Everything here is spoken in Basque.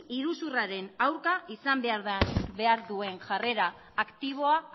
iruzurraren aurka izan behar duen jarrera aktiboa